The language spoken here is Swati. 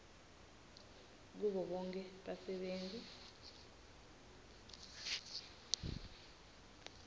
kubo bonkhe basebenti